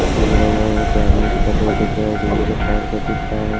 आदमी सब बैठे हुए दिख रहे हैं। बिजली के तार सा दिख रहा है।